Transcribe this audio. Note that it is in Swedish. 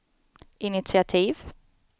initiativ